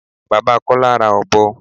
Bàbá Kọ́lá ra ọ̀bọ.